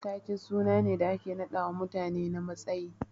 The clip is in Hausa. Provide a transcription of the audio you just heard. Ta ke sunane da ake naɗawa mutane na matsayi.